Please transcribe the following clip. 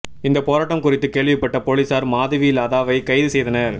இந்த போராட்டம் குறித்து கேள்விப்பட்ட போலீசார் மாதவி லதாவை கைது செய்தனர்